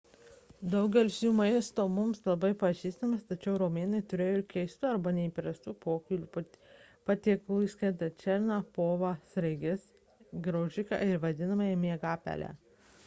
daugelis jų maisto mums bus pažįstama tačiau romėnai turėjo ir keistų arba neįprastų pokylių patiekalų įskaitant šerną povą sraiges ir graužiką vadinamą miegapele